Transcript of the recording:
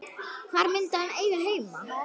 Hvar myndi hann eiga heima?